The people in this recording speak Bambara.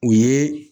O ye